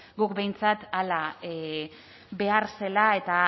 guk behintzat hala behar zela eta